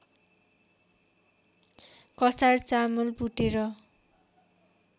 कसार चामल भुटेर